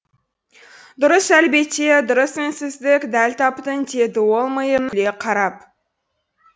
дұрыс әлбетте дұрыс үнсіздік дәл таптың деді ол күле қарап